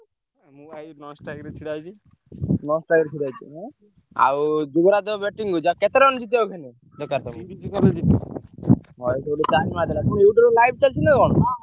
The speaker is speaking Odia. ଆଉ ଯୁବରାଜ batting କରୁଛି ଆଉ କେତେ run ଜିତିବାକୁ ହେଲେ।